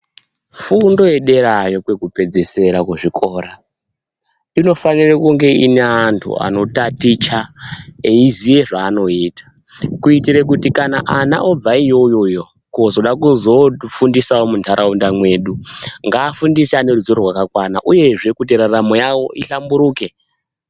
Fundo yederayo kwekupedzesera kuzvikora inofanire kunge ine andu ano taticha eiziye zvaanoita kuitire kuti kana ana obva iyoyoyo kozoda kuzo fundisa mundaraunda medu ngaafundise ane ruzowo rwakakwana uyezve kuti raramo yawo ihlamburuke.